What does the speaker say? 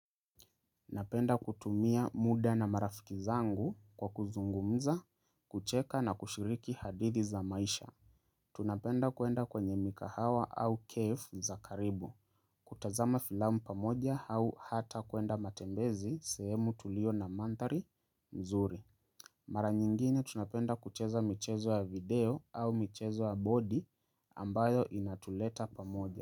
Napenda kutumia muda na marafiki zangu kwa kuzungumza, kucheka na kushiriki hadithi za maisha. Tunapenda kuwenda kwenye mikahawa au cafe za karibu. Kutazama filamu pamoja au hata kuenda matembezi sehemu tulio na mandhari mzuri. Mara nyingine tunapenda kucheza michezo ya video au michezo ya body ambayo inatuleta pamoja.